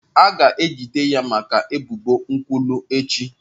A ga-ejide ya maka ebubo nkwulu echi.